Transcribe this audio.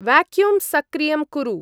Vacuum सक्रियं कुरु।